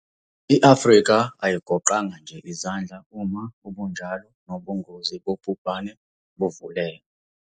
I-Afrika ayigoqanga nje izandla uma ubunjalo nobungozi bobhubhane buvuleka.